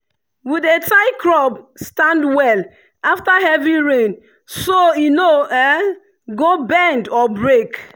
we dey tie crop stand well after heavy rain so e no go bend or break.